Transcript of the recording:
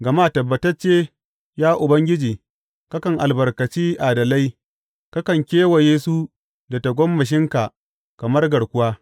Gama tabbatacce, ya Ubangiji, kakan albarkaci adalai; kakan kewaye su da tagomashinka kamar garkuwa.